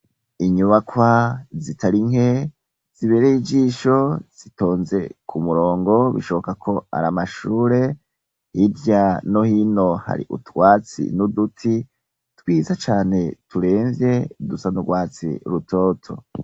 Inyubakwa zitari nke ziberey ijisho zitonze ku murongo bishoboka ko ari amashure. Hirya no hino hari utwatsi n'uduti twiza cane turemvye, dusa n'urwatsi rutoto.